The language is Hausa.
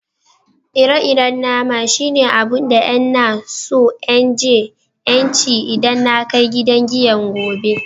Ire-iren nama shine abun da n'na so n je n'ci idan na kai gidan giyan gobe.